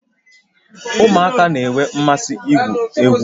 Ụmụaka na-enwe mmasị igwu egwu